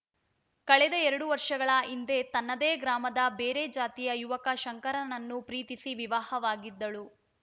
ಕಳೆದ ಎರಡು ವರ್ಷಗಳ ಹಿಂದೆ ತನ್ನದೇ ಗ್ರಾಮದ ಬೇರೆ ಜಾತಿಯ ಯುವಕ ಶಂಕರನನ್ನು ಪ್ರೀತಿಸಿ ವಿವಾಹವಾಗಿದ್ದಳು